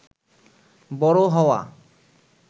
বড় হওয়া